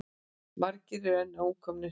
Margir eru enn ókomnir heim.